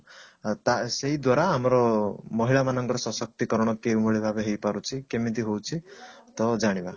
ତା ସେଇ ଦ୍ଵାରା ଆମର ମହିଳା ମାନଙ୍କର ସଶକ୍ତିକରଣ କେଉଁଭଳି ଭାବେ ହେଇପାରୁଛି କେମିତି ହଉଛି ତ ଜାଣିବା